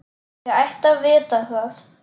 Ég ætti að vita það.